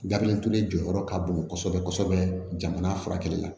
Gabiriyɛri ture jɔyɔrɔ ka bon kosɛbɛ kosɛbɛ jamana furakɛli la